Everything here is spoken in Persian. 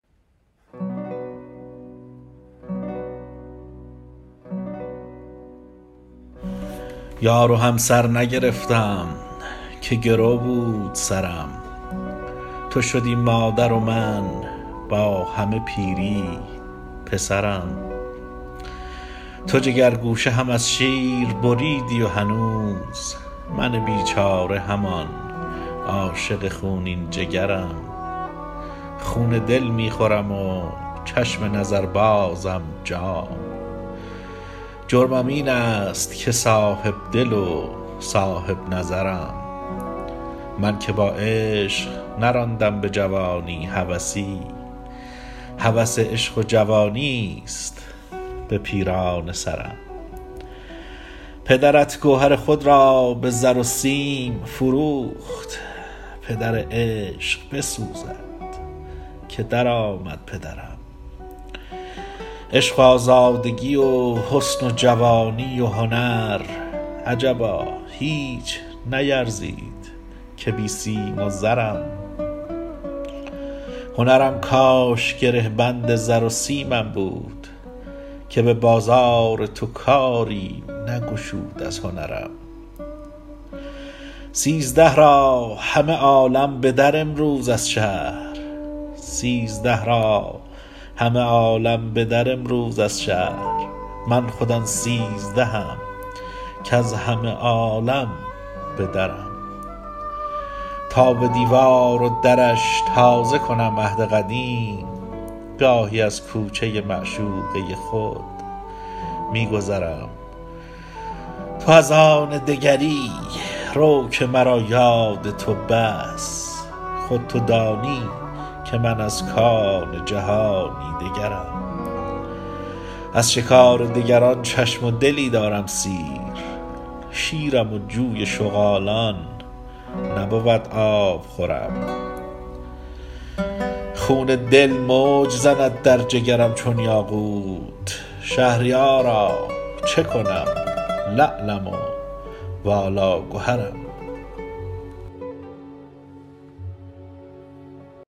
یار و همسر نگرفتم که گرو بود سرم تو شدی مادر و من با همه پیری پسرم تو جگرگوشه هم از شیر بریدی و هنوز من بیچاره همان عاشق خونین جگرم خون دل می خورم و چشم نظر بازم جام جرمم این است که صاحب دل و صاحب نظرم من که با عشق نراندم به جوانی هوسی هوس عشق و جوانیست به پیرانه سرم پدرت گوهر خود را به زر و سیم فروخت پدر عشق بسوزد که در آمد پدرم عشق و آزادگی و حسن و جوانی و هنر عجبا هیچ نیرزید که بی سیم و زرم هنرم کاش گره بند زر و سیمم بود که به بازار تو کاری نگشود از هنرم سیزده را همه عالم به در آیند از شهر من خود آن سیزدهم کز همه عالم به درم تا به دیوار و درش تازه کنم عهد قدیم گاهی از کوچه معشوقه خود می گذرم تو از آن دگری رو که مرا یاد تو بس خود تو دانی که من از کان جهانی دگرم از شکار دگران چشم و دلی دارم سیر شیرم و جوی شغالان نبود آبخورم خون دل موج زند در جگرم چون یاقوت شهریارا چه کنم لعلم و والا گهرم